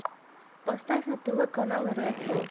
поставь на тв канал ретро